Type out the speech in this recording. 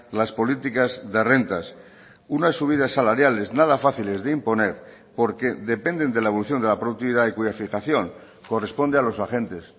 las políticas de rentas unas subidas salariales nada fáciles de imponer porque dependen de la evolución de la productividad y cuya fijación corresponde a los agentes